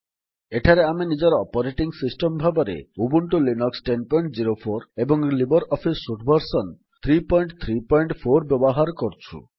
ଏଠାରେ ଆମେ ନିଜର ଅପରେଟିଙ୍ଗ୍ ସିଷ୍ଟମ୍ ଭାବେ ଉବୁଣ୍ଟୁ ଲିନକ୍ସ ୧୦୦୪ ଏବଂ ଲିବର୍ ଅଫିସ୍ ସୁଟ୍ ଭର୍ସନ୍ ୩୩୪ ବ୍ୟବହାର କରୁଛୁ